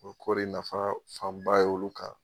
Ko kɔri nafa fanba y'olu kan